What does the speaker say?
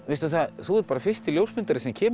þú ert fyrsti ljósmyndarinn sem kemur